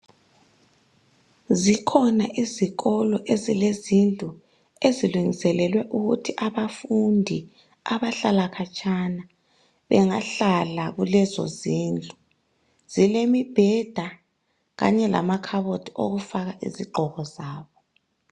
Zikhona izikolo ezilezindlu ezilungiselelwe ukuthi abafundi abahlala khatshana bengahlala kulezozindlu. Zilemibheda kanye lamakhabothi okufaka izigqoko zabo.